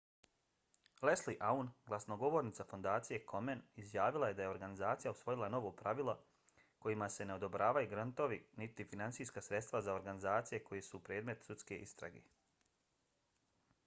leslie aun glasnogovornica fondacije komen izjavila je da je organizacija usvojila novo pravilo kojima se ne odobravaju grantovi niti finansijska sredstva za organizacije koje su predmet sudske istrage